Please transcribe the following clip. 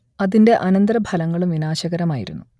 അതിന്റെ അനന്തരഫലങ്ങളും വിനാശകരമായിരുന്നു